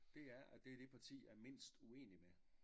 Det er at det er det parti jeg er mindst uening med